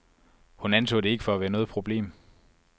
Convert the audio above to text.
Hun anså det ikke for at være noget problem.